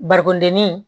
Barikondennin